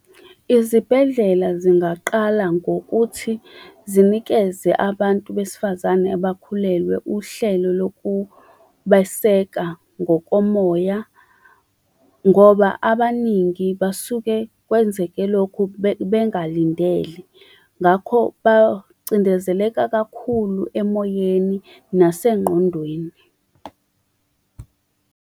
Izibhedlela zingaqala ngokuthi zinikeze abantu besifazane abakhulelwe uhlelo lokubeseka ngokomoya, ngoba abaningi basuke kwenzeke lokhu bengalindele, ngakho bacindezeleka kakhulu emoyeni nasengqondweni.